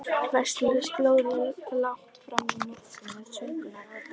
Veislan stóð langt fram á nótt með söngvum og dansi.